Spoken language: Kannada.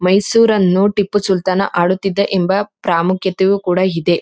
ಮೈಸೂರನ್ನು ಟಿಪ್ಪು ಸುಲ್ತಾನ ಆಳುತ್ತಿದ್ದ ಎಂಬ ಪ್ರಾಮುಖ್ಯತೆ ಕೂಡ ಇದೆ.